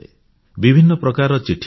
ବିଭିନ୍ନ ପ୍ରକାରର ଚିଠି ଆସେ